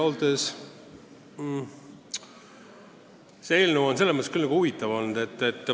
Ausalt öeldes on see eelnõu mõnes mõttes väga huvitav olnud.